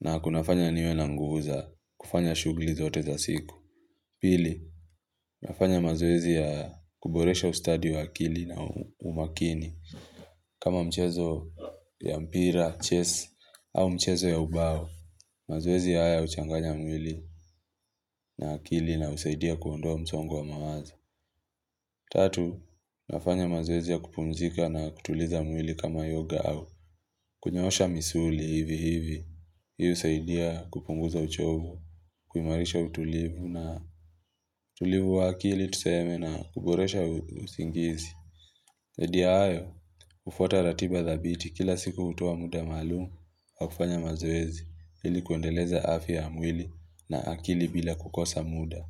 na kunafanya niwe na nguza kufanya shughuli zote za siku. Pili, nafanya mazoezi ya kuboresha ustadi wa akili na umakini. Kama mchezo ya mpira, chess, au mchezo ya ubao mazoezi ya haya huchanganya mwili na akili na husaidia kuondoa msongo wa mawazo Tatu, nafanya mazoezi ya kupumzika na kutuliza mwili kama yoga au kunyoosha misuli hivi hivi Hii husaidia kupunguza uchovu, kuimarisha utulivu na utulivu wa akili tuseme na kuboresha usingizi Zaidi ya hayo, hufuata ratiba dhabiti kila siku hutoa muda malumu wa kufanya mazoezi ili kuendeleza afya ya mwili na akili bila kukosa muda.